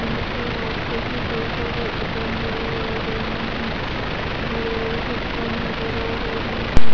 यहा पर बुक्स जेसे कई नजर आ रहे है बड़े बड़े नजर आ रहे है।